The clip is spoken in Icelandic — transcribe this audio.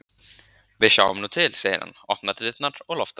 Við sjáum nú til, segir hann, opnar dyrnar og loftar út.